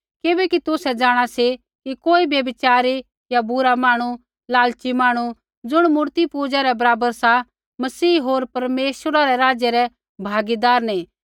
किबैकि तुसै जाँणा सी कि कोई व्यभिचारी या बुरा मांहणु या लालची मांहणु री ज़ुण मूर्तिपूजा रै बराबर सा मसीह होर परमेश्वरा रै राज्य रै भागीदार नैंई